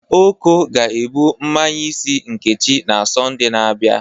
Oko ga-ebụ mmanye isi Nkechi na Sọnde na-abịa.